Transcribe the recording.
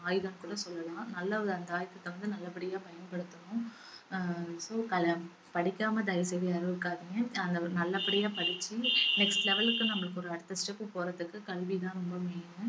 ஆயுதம்னு கூட சொல்லலாம் நல்ல ஒரு அந்த ஆயுதத்த வந்து நல்லபடியா பயன்படுத்தணும் ஹம் படிக்காம தயவு செய்து யாரும் இருக்காதீங்க அ~ நல்லபடியா படிச்சு next level க்கு நம்மளுக்கு ஒரு அடுத்த step போறதுக்கு கல்வி தான் ரொம்ப main